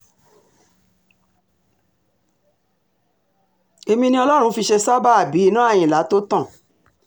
èmi ni ọlọ́run fi ṣe sábàábì iná àyìnlá tó tán